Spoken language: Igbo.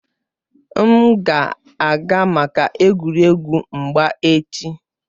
M ga-aga maka egwuregwu mgba echi